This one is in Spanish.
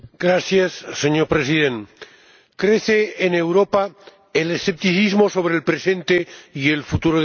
Señor Presidente, crece en Europa el escepticismo sobre el presente y el futuro de la Unión.